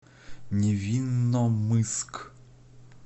невинномысск